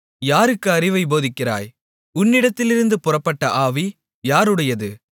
யாருக்கு அறிவைப் போதித்தாய் உன்னிடத்திலிருந்து புறப்பட்ட ஆவி யாருடையது